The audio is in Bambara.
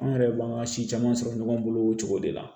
An yɛrɛ b'an ka si caman sɔrɔ ɲɔgɔn bolo o cogo de la